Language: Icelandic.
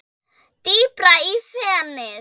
Dýpra í fenið